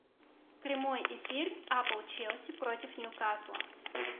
прямой эфир апл челси против ньюкасла